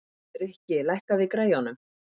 Rikki, lækkaðu í græjunum.